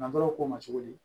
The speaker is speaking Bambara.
N'an taara o k'o ma cogo di